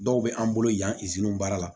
Dɔw bɛ an bolo yan baara la